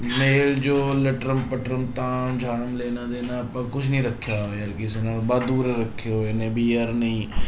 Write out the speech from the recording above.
ਮੇਲ ਜੋਲ ਲਟਰਮ ਪਟਰਮ ਤਾਂ ਜਾਂ ਲੈਣਾ ਦੇਣਾ ਆਪਾਂ ਕੁਛ ਨੀ ਰੱਖਿਆ ਹੋਇਆ ਕਿਸੇ ਨਾਲ ਵਾਧੂ ਦੇ ਰੱਖੇ ਹੋਏ ਨੇ ਵੀ ਯਾਰ ਨਹੀਂ